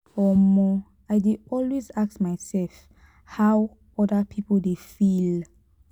um i dey always ask mysef how oda pipo dey feel.